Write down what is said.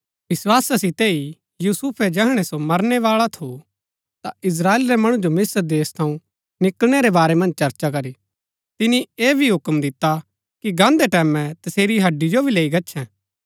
विस्‍वासा सितै ही यूसुफै जैहणै सो मरनै बाळा थू ता इस्त्राएल रै मणु जो मिस्त्र देश थऊँ निकळनै रै बारै मन्ज चर्चा करी तिनी ऐह भी हुक्म दिता कि गान्दै टैमैं तसेरी हड्डी जो भी लैई गच्छैं